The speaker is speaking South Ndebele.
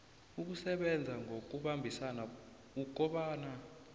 ukusebenza ngokubambisana ukobana